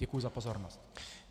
Děkuji za pozornost.